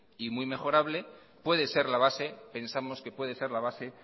y muy mejorable puede ser la base pensamos que puede ser la base